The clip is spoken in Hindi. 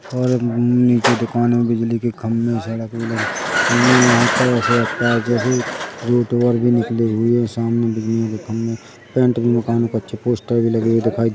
और नीचे दुकान में बिजली के खंबे सड़क में लगे और भी निकले हुए सामने बिजली के खंबे पेंट भी मकान में अच्छे पोस्टर भी लगे हुए दिखाई दे --